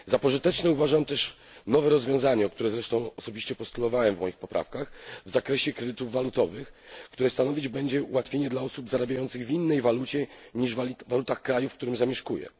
Za pożyteczne uważam też nowe rozwiązanie o które zresztą zabiegałem w moich poprawkach w zakresie kredytów walutowych, które stanowić będzie ułatwienie dla osób zarabiających w innej walucie niż waluta kraju, w którym zamieszkują.